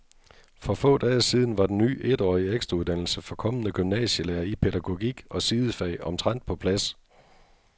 For få dage siden var den ny etårige ekstrauddannelse for kommende gymnasielærere i pædagogik og sidefag omtrent på plads.